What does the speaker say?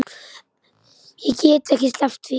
Ég get ekki sleppt því.